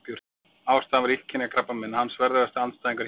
Ástæðan var illkynja krabbamein, hans verðugasti andstæðingur hingað til.